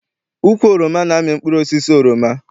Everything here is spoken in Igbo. Ukwu oroma na-amị mkpụrụosisi oroma.